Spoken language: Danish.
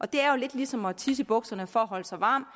det er jo lidt ligesom at tisse i bukserne for at holde sig varm